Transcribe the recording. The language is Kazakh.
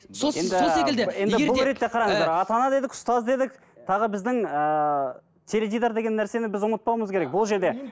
сол сол секілді егер де і енді бұл ретте қараңыздар ата ана дедік ұстаз дедік тағы біздің ііі теледидар деген нәрсені біз ұмытпауымыз керек бұл жерде